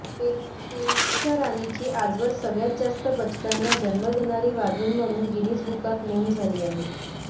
पेंचच्या राणीची आजवर सगळ्यात जास्त बछड्यांना जन्म देणारी वाघीण म्हणून गिनीज बुकात नोंद झाली आहे